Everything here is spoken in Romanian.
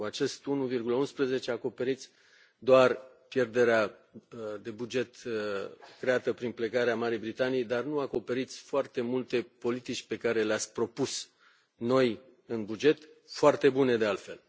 1. Cu acest 1,11 acoperiți doar pierderea de buget creată prin plecarea Marii Britanii, dar nu acoperiți foarte multe politici pe care le ați propus noi în buget, foarte bune de altfel.